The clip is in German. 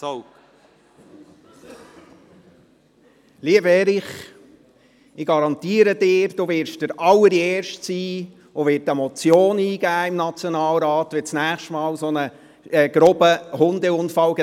Lieber Erich Hess, ich garantiere Ihnen, Sie werden der Allererste sein, der im Nationalrat eine Motion eingeben wird, wenn das nächste Mal ein solch grober Hundeunfall geschieht.